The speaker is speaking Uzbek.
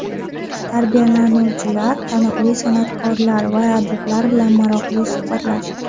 Tarbiyalanuvchilar taniqli san’atkorlar va adiblar bilan maroqli suhbatlashdi.